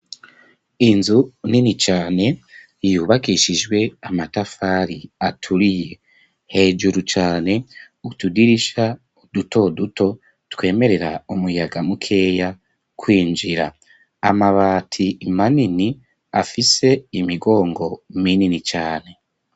Inzu nini cane yubakishijwe amatafari aturiye. Hejuru cane utudirisha duto duto twemerera umuyaga mukeya kwinjira, amabati manini afise imigongo minini cane.